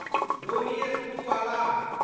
Ronnie Screwvala